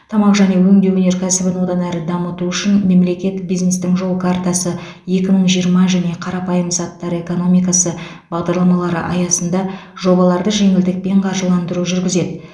тамақ және өңдеу өнеркәсібін одан әрі дамыту үшін мемлекет бизнестің жол картасы екі мың жиырма және қарапайым заттар экономикасы бағдарламалары аясында жобаларды жеңілдікпен қаржыландыру жүргізеді